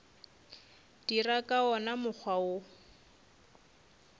dira ka wona mokgwa wo